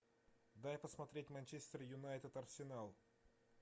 дай посмотреть манчестер юнайтед арсенал